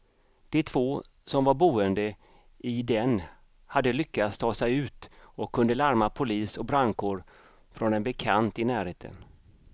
De två som var boende i den hade lyckats ta sig ut och kunde larma polis och brandkår från en bekant i närheten.